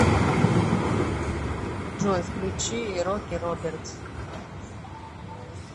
джой включи роки робертс